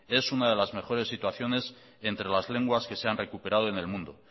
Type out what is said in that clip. es una de las mejores situaciones entre las lenguas que se han recuperado en el mundo